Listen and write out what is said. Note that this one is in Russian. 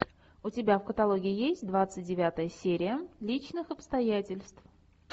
у тебя в каталоге есть двадцать девятая серия личных обстоятельств